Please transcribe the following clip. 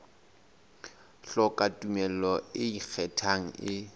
hloka tumello e ikgethang e